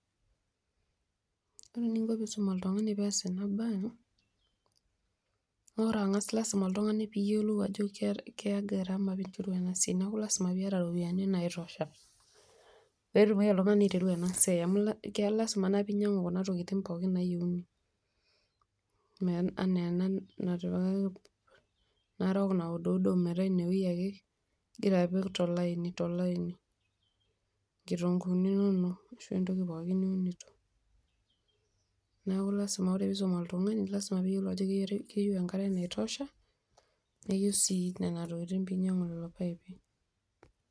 Ore eninko peisum oltung'ani peas ena bae naa ore ang'as lasima oltung'ani peiyolou ajo keya garama enasiai neaku lasima piata ropiyani naitosha petumoki oltung'ani aiteru enasiai amu lasima naa peinyang'u oltung'ani kunatokitin nayieuni, anaa enatipikaki narok nauduudo enewoi ake igira apik tolaini, nkitunguunu inonok ashu entoki pookin, neaku ore peisum oltung'ani keyiolo ajo keeta enkare naitosha neyieu sii nona tokitin peinyang'u.